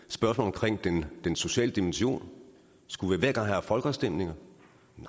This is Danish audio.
spørgsmålet om den den sociale dimension skulle vi hver gang have haft folkeafstemninger